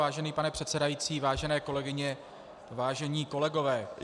Vážený pane předsedající, vážené kolegyně, vážení kolegové -